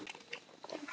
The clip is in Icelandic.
Þín, María Lind.